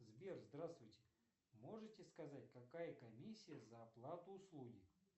сбер здравствуйте можете сказать какая комиссия за оплату услуги